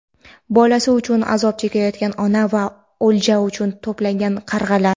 Bolasi uchun azob chekayotgan ona va o‘lja uchun to‘plangan qarg‘alar.